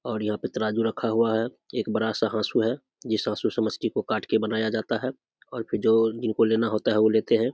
और यहाँ पे तराजु रखा हुआ है एक बड़ा सा हाँसू है जिस हाँसू से मछली को काटके बनाया जाता है और फिर जो जिनको लेना होता है वो लेते है ।